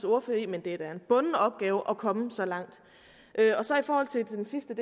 ordfører i men det er da en bunden opgave at komme så langt i forhold til den sidste